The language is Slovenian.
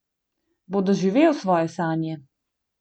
Bo doživel svoje sanje?